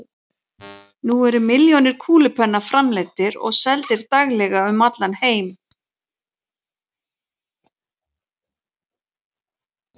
Nú eru milljónir kúlupenna framleiddir og seldir daglega um allan heim.